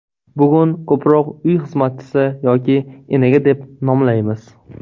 Bugun ko‘proq uy xizmatchisi yoki enaga deb nomlaymiz.